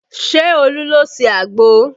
Ṣé Olu ló ṣe àgbò?